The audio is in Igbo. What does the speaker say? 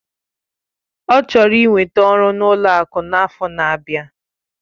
Ọ chọrọ ị nweta ọrụ n'ụlọ akụ n'afọ n'abia.